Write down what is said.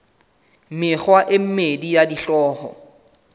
mekgwa e mmedi ya sehlooho